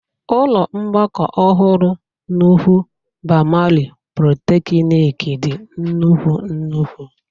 Ụlọ mgbakọ ọhụrụ nuhu bamali polychnic dị nnukwu nnukwu.